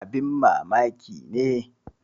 Abin mamaki ne!